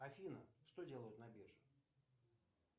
афина что делают на бирже